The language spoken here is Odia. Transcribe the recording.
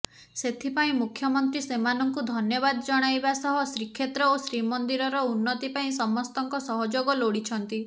ସେଥିପାଇଁ ମୁଖ୍ୟମନ୍ତ୍ରୀ ସେମାନଙ୍କୁ ଧନ୍ୟବାଦ ଜଣାଇବା ସହ ଶ୍ରୀକ୍ଷେତ୍ର ଓ ଶ୍ରୀମନ୍ଦିରର ଉନ୍ନତିପାଇଁ ସମସ୍ତଙ୍କ ସହଯୋଗ ଲୋଡ଼ିଛନ୍ତି